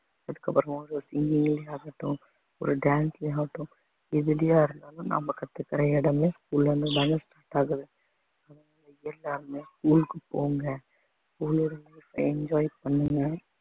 அதுக்கப்புறமா ஒரு ஆகட்டும் ஒரு dance ல ஆகட்டும் எதுலயா இருந்தாலும் நாம கத்துக்கிற இடமே school அ இருந்து தாங்க start ஆகுது அதனால எல்லாருமே school க்கு போங்க enjoy பண்ணுங்க